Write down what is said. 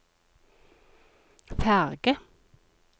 ferge